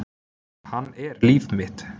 Hann er líf mitt.